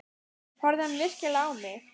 Horfði hann virkilega á mig?